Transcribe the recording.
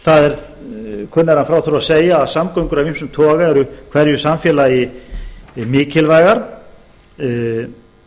er kunnara en frá þurfi að segja að samgöngur af ýmsum toga eru hverju samfélagi mikilvægar og það